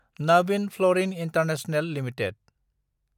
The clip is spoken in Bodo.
Navin fluorine international limited